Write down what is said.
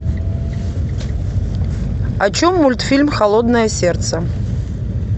о чем мультфильм холодное сердце